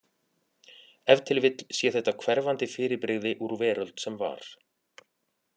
Ef til vill sé þetta hverfandi fyrirbrigði úr veröld sem var.